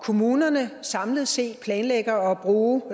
kommunerne samlet set planlægger at bruge